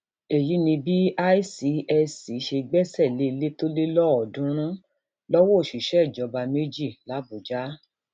èyí ni bí icsc ṣe gbẹsẹ lé ilé tó lé lọọọdúnrún lowó òṣìṣẹ ìjọba méjì làbújá